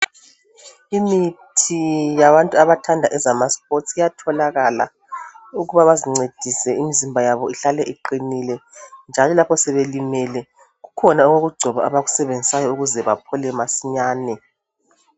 Imithi yabantu abathanda ezama sipotsi iyatholakala ukuba bazincedise imizimba yabo ihlale iqinile. Njalo lapho sebelimele kukhona okokugcoba abakusebenzisayo ukuze baphole masinyane.